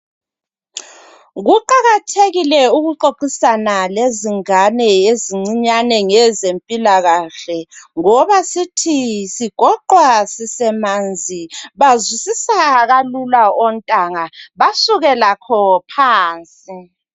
Kuqakathekile ukuxoxisana lezingane ezisasencane ngezempilakahle. Ngoba sithi sigoqwa sisasemanzi. Bazwisisa kalula ontanga basuke lakho phansi.